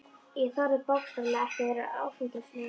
Ég þorði bókstaflega ekki að vera áfengislaus.